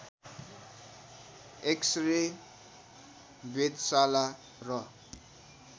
x-ray वेधशाला र